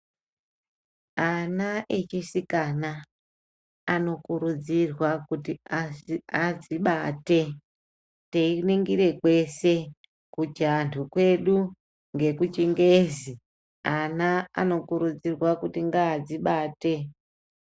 Ana echisikana anokurudzirwa kuti adzibate teiningire kwese kuchianhu kwedu ngekuchingezi. Ana anokurudzirwa kuti ngadzibate.